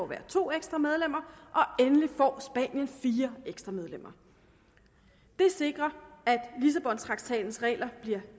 hver to ekstra medlemmer og endelig får spanien fire ekstra medlemmer det sikrer at lissabontraktatens regler bliver